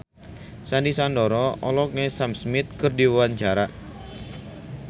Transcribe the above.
Sandy Sandoro olohok ningali Sam Smith keur diwawancara